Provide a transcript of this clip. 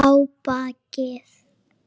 Ég má ekki við miklu.